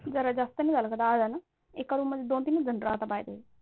जरा जास्तच नाही झालं का दहा जण? एका Room मध्ये दोन-तीन जण राहतात By the way